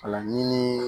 Ala ɲini